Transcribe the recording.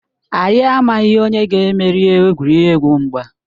Anyị amaghị onye ga-emeri egwuregwu mgba.